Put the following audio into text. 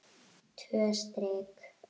Tvö strik.